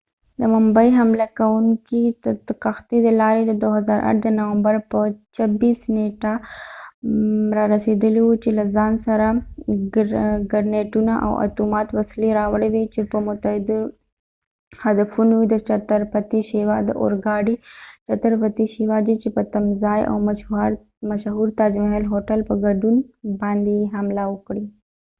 د ممبۍ حمله کوونکې د کښتی د لارې د 2008 د نومبر په 26 نیټه رارسیدلی و چې له ځان سره ګرنیټونه او اتومات وسلی راوړی وي چې په متعددو هدفونو یې د چتر پتی شيوا چې chatar pati shivaji د اور ګاډی په تمځاې او مشهور تاج محل هوټل په ګډون باندي یې حملی وکړي